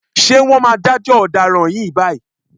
Ṣé wọ́n máa dájọ́ ọ̀daràn yìí báyìí?